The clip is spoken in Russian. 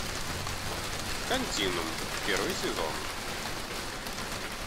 континуум первый сезон